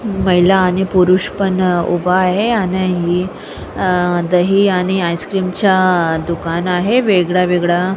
महिला आणि पुरुष पण उभा आहे आणि ही अ दही आणि आईस्क्रीम च दुकान आहे वेगळं वेगळं.